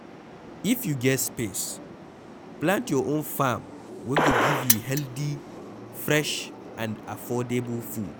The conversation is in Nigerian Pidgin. if you get space, plant your own farm wey go give you healthy, fresh and affordable food